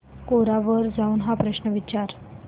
कोरा वर जाऊन हा प्रश्न विचार